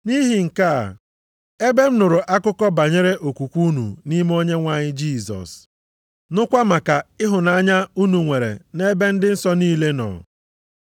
Nʼihi nke a, ebe m nụrụ akụkọ banyere okwukwe unu nʼime Onyenwe anyị Jisọs, nụkwa maka ịhụnanya unu nwere nʼebe ndị nsọ niile nọ,